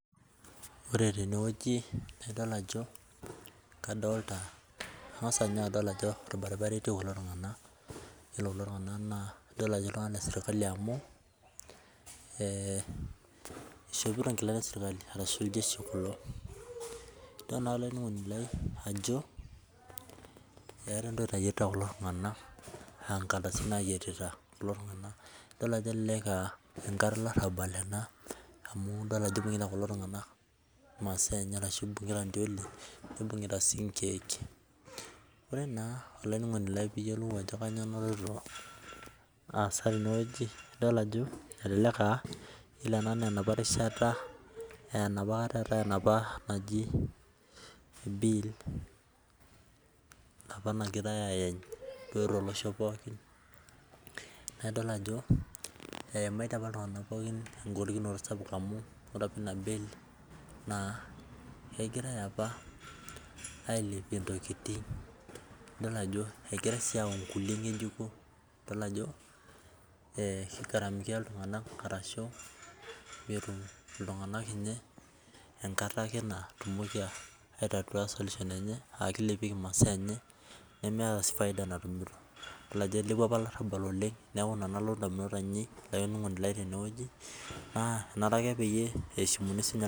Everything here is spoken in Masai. Ore tenewueji, na idol ajo kadolta kang'asa nye adol ajo orbaribara etii kulo tung'anak, yiolo kulo tung'anak naa adol ajo lesirkali amu ishopito nkilani esirkali ashu iljeshi kulo. Idol naa olainining'oni lai ajo eeta entoki nayietita kulo tung'anak, ah nkardasini nayietita kulo tung'anak. Idol ajo elelek ah enkata olarrabal ena, amu idol ajo ibung'ita kulo tung'anak imasaa enye ashu ibung'ita ntioli, nibung'ita si inkeek. Ore naa olainining'oni lai piyiolou ajo kanyioo naloito aasa tenewueji, idol ajo elelek ah yiolo ena naa enapa rishata enapakata eetae enapa naji bill, enapa nagirai ayany duo tolosho pookin, na idol ajo eimaitie apa iltung'anak pookin egolikinoto sapuk amu ore apa ena bill, naa kegirai apa ailepie intokiting, idol ajo egirai si ayau nkulie ng'ejuko, idol ajo kigaramikia iltung'anak arashu metum iltung'anak inye enkata ake natumoki ai tatua solution, akelipieki masaa enye, nemeeta si faida natumito. Idol ajo ilepua apa olarrabal oleng, neku ina naa nalotu indamunot ainei, olainining'oni lai tenewueji, naa enare ake eshimuni sinye